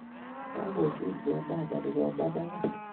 Kagochut go mama nikomanagat